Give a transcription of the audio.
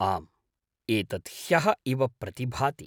आम् एतत् ह्यः इव प्रतिभाति।